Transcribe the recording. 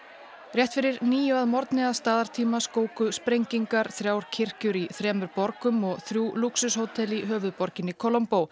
rétt fyrir níu að morgni að staðartíma skóku sprengingar þrjár kirkjur í þremur borgum og þrjú lúxushótel í höfuðborginni